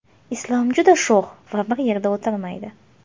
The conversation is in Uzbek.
Islom juda sho‘x va bir yerda o‘tirmaydi.